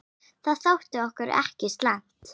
Það þótti okkur ekki slæmt.